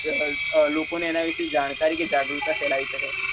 લોકો ને એના વિષે જાણકારી અને જાગૃતા ફેલાવી શકે